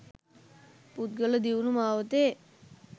පුද්ගල දියුණු මාවතේ